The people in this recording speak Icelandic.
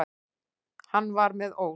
Hann var með ól.